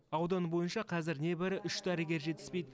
аудан бойынша қазір небәрі үш дәрігер жетіспейді